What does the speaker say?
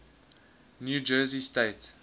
new jersey state